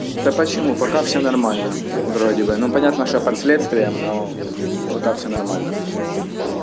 да почему пока всё нормально вроде бы ну понятно что я под следствием но пока всё нормально